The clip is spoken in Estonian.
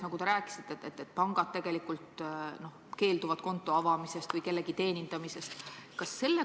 Nagu te rääkisite, võivad pangad konto avamisest või kellegi teenindamisest keelduda.